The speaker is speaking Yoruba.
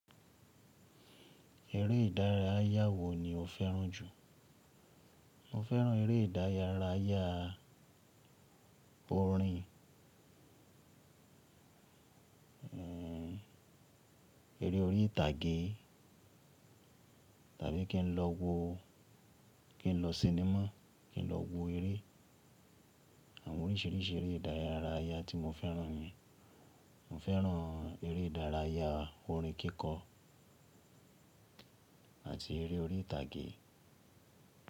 Erẹ́ ìdárayá wo ni o fẹ́ràn jù? Mo fẹ́ràn eré ìdárayá porin, eré orí ìtàgé tàbí kí n lọ wo kí n lọ sinimá, kí n lọ wo eré. Àwọn oríṣìíríṣìí eré ìdárayá tí mo fẹ́ràn ni, mo fẹ́ràn eré ìdárayá orin kíkọ àti eré orí ìtàgé.